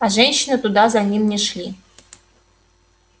а женщины туда за ним не шли